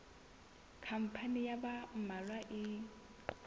khampani ya ba mmalwa e